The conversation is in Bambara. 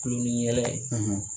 Kulonniyɛlɛ ye